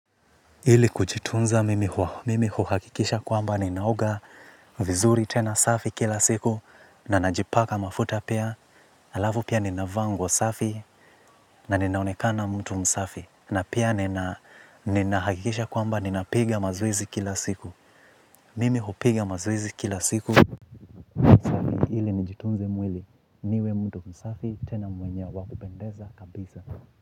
Ili kujitunza mimi huhakikisha kwamba ninaoga vizuri tena safi kila siku na najipaka mafuta pia. Alafu pia ninavaa nguo safi na ninaonekana mtu msafi na pia ninahakikisha kwamba ninapiga mazoezi kila siku. Mimi hupiga mazowzi kila siku ili nijitumze mwili. Niwe mtu msafi tena mwenye wa kuoendeza kabisa.